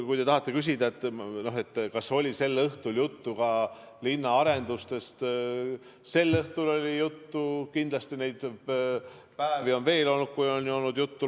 Kui te tahate teada, kas sel õhtul oli juttu ka linna arendustest, siis sel õhtul oli juttu ja kindlasti on neid päevi veel olnud, kui on olnud juttu.